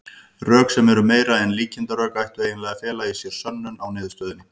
Rök, sem eru meira en líkindarök, ættu eiginlega að fela í sér sönnun á niðurstöðunni.